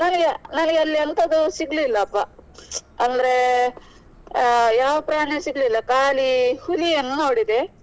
ನನಗೆ ನನ್ಗೆ ಅಲ್ಲಿ ಎಂತದು ಸಿಗ್ಲಿಲ್ಲಾಪ ಅಂದ್ರೆ ಅಹ್ ಯಾವ ಪ್ರಾಣಿನೂ ಸಿಗ್ಲಿಲ್ಲ ಕಾಲಿ ಹುಲಿಯನ್ನು ನೋಡಿದೆ.